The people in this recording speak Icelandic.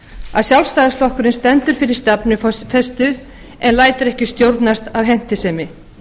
að sjálfstfl stendur fyrir stefnufestu en lætur ekki stjórnast af hentisemi